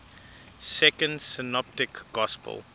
second synoptic gospel